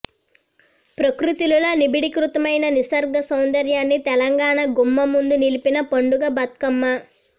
ప్రకృతిలో నిబిడీకృతమైన నిసర్గ సౌందర్యాన్ని తెలంగాణ గుమ్మం ముందు నిలిపిన పండుగ బత్కమ్మ